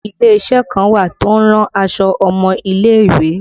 Ile isẹ kan wà tí ó ń rán aṣọ ọmọ ilé ìwé